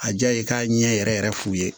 A diya ye k'a ɲɛ yɛrɛ yɛrɛ f'u ye